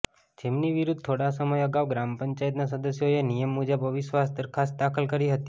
જેમની વિરુદ્ધ થોડા સમય અગાઉ ગ્રામપંચાયતના સદસ્યોએ નિયમ મુજબ અવિશ્વાસ દરખાસ્ત દાખલ કરી હતી